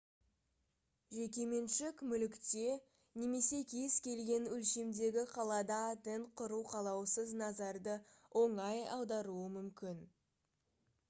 жекеменшік мүлікте немесе кез келген өлшемдегі қалада тент құру қалаусыз назарды оңай аударуы мүмкін